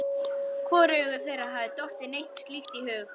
Hvorugu þeirra hafði dottið neitt slíkt í hug.